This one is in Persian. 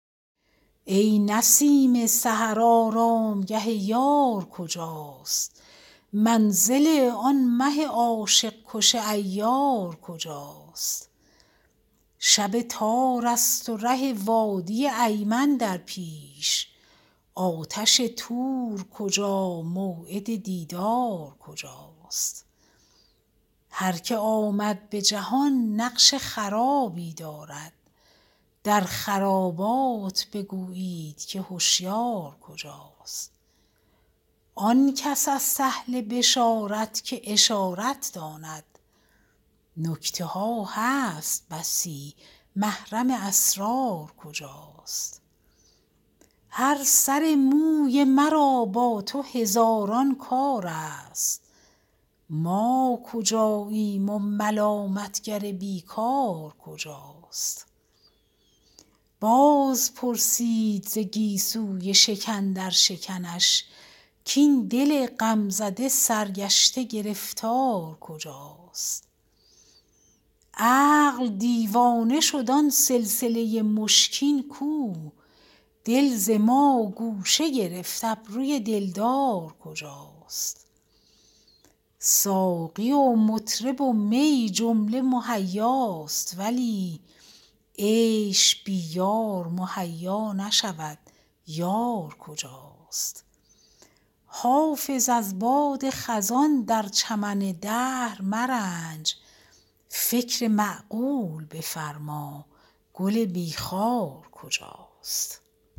ای نسیم سحر آرامگه یار کجاست منزل آن مه عاشق کش عیار کجاست شب تار است و ره وادی ایمن در پیش آتش طور کجا موعد دیدار کجاست هر که آمد به جهان نقش خرابی دارد در خرابات بگویید که هشیار کجاست آن کس است اهل بشارت که اشارت داند نکته ها هست بسی محرم اسرار کجاست هر سر موی مرا با تو هزاران کار است ما کجاییم و ملامت گر بی کار کجاست باز پرسید ز گیسوی شکن در شکنش کاین دل غم زده سرگشته گرفتار کجاست عقل دیوانه شد آن سلسله مشکین کو دل ز ما گوشه گرفت ابروی دلدار کجاست ساقی و مطرب و می جمله مهیاست ولی عیش بی یار مهیا نشود یار کجاست حافظ از باد خزان در چمن دهر مرنج فکر معقول بفرما گل بی خار کجاست